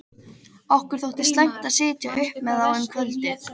Okkur þótti slæmt að sitja uppi með þá um kvöldið.